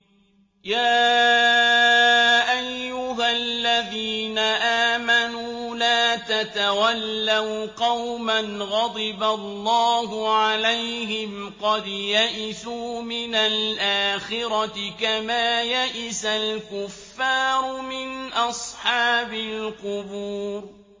يَا أَيُّهَا الَّذِينَ آمَنُوا لَا تَتَوَلَّوْا قَوْمًا غَضِبَ اللَّهُ عَلَيْهِمْ قَدْ يَئِسُوا مِنَ الْآخِرَةِ كَمَا يَئِسَ الْكُفَّارُ مِنْ أَصْحَابِ الْقُبُورِ